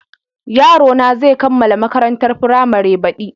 Yarona zai kammala makarantar firamare baɗi.